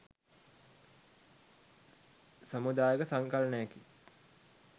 සමුදායක සංකලනයකි.